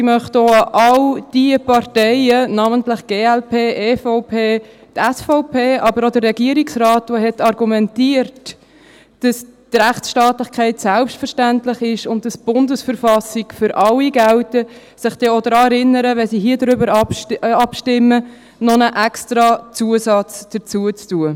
Ich möchte mich auch an all jene Parteien wenden, namentlich an die glp, die EVP, die SVP – aber auch an den Regierungsrat, der argumentiert hat, dass die Rechtsstaatlichkeit selbstverständlich sei und dass die Bundesverfassung der Schweizerischen Eidgenossenschaft (BV) für alle gelte –, dass sie sich dann auch daran erinnern, wenn sie hier darüber abstimmen, noch einen Extrazusatz hinzuzufügen.